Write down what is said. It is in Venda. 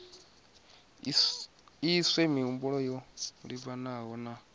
iswe mihumbulo yo livhanaho na